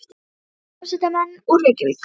Það voru hér hljómsveitarmenn úr Reykjavík.